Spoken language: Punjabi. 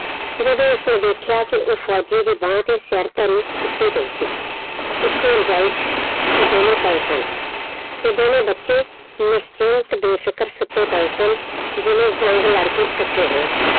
ਜਦੋਂ ਉਸਨੇ ਦੇਖਿਆ ਕਿ ਉਹ ਫ਼ੌਜੀ ਦੀ ਬਾਂਹ ਤੇ ਸਿਰ ਧਰੀ ਸੁੱਤੀ ਪਈ ਸੀ। ਇੱਕੋ ਰਜਾਈ ਚ ਉਹ ਦੋਨੋਂ ਪਏ ਸਨ ਤੇ ਦੋਨੇ ਬੱਚੇ ਨਿਸ਼ਚਿੰਤ ਬੇਫਿਕਰ ਸੁੱਤੇ ਪਏ ਸਨ ਜਿਵੇਂ ਜੰਗ ਲੜਕੇ ਥੱਕੇ ਹੋਣ